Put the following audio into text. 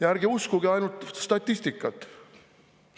Ja ärge uskuge ainult statistikat!